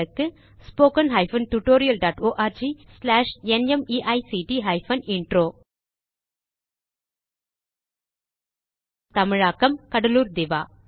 spoken hyphen tutorial dot org slash நிமைக்ட் hyphen intro தமிழாக்கம் கடலூர் திவா